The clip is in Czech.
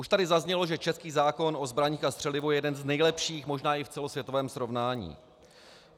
Už tady zaznělo, že český zákon o zbraních a střelivu je jeden z nejlepších možná i v celosvětovém srovnání.